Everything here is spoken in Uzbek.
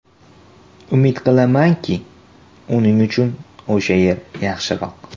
Umid qilamanki, uning uchun o‘sha yer yaxshiroq.